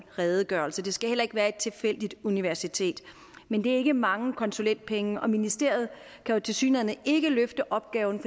redegørelse det skal heller ikke være et tilfældigt universitet men det er ikke mange konsulentpenge og ministeriet kan jo tilsyneladende ikke løfte opgaven